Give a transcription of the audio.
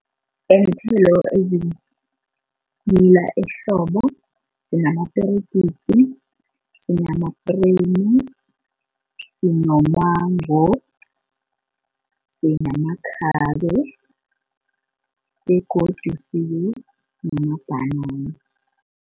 Iinthelo ezimila ehlobo sinamaperegisi, sinamapremu, sinomango sinamakhabe, begodu sibe namabhanana.